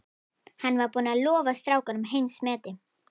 Hann var búinn að lofa strákunum heimsmeti.